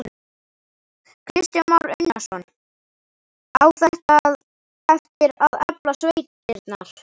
Kristján Már Unnarsson: Á þetta eftir að efla sveitirnar?